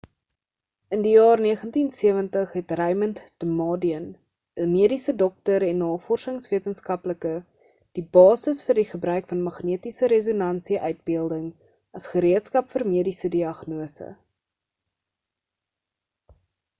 in die jaar 1970 het raymond damadian 'n mediese dokter en navorsings wetenskaplike die basis vir die gebruik van magnetiese resonansie uitbeelding as gereedskap vir mediese diagnose